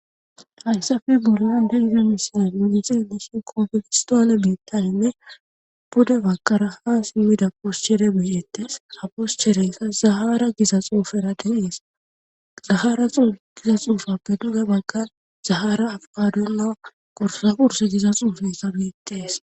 Hayssafi bulan de iza misana yunizeeleshin koofegistoole biittaninne bode bakara ha simmida poschere biyettes aposchereyssa zahara giza xuufaera delees zahara giza xuufappe duga bagka zahara afqadon na qorsa purs diza xuufesa biittees